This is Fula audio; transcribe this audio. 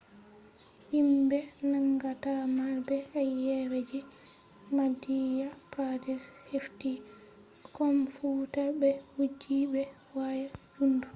himbe nangata marbe ayebe je madhya pradesh hefti komfuta be wujji be waya jundo